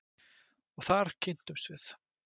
Og þar kynntumst við.